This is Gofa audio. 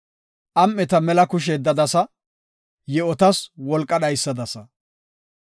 Am7eta mela kushe yeddadasa; yi7otas wolqa dhaysadasa.